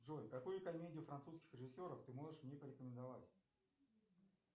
джой какую комедию французских режиссеров ты можешь мне порекомендовать